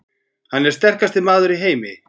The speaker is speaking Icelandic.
Hann er sterkasti maður í heimi!